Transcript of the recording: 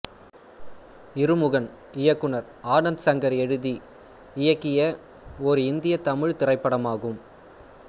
இருமுகன் இயக்குனர் ஆனந்த் சங்கர் எழுதி இயக்கிய ஓர் இந்திய தமிழ்த் திரைப்படமாகும்